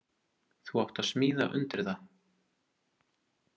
Þú átt að smíða undir það.